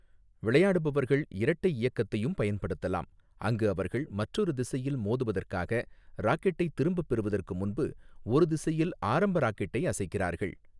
விளையாடுபவர்கள் இரட்டை இயக்கத்தையும் பயன்படுத்தலாம், அங்கு அவர்கள் மற்றொரு திசையில் மோதுவதற்காக ராக்கெட்டை திரும்பப் பெறுவதற்கு முன்பு ஒரு திசையில் ஆரம்ப ராக்கெட்டை அசைக்கிறார்கள்.